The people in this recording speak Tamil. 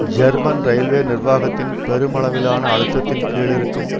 ஜெர்மன் இரயில்வே நிர்வாகத்தின் பெருமளவிலான அழுத்தத்தின் கீழ் இருக்கும்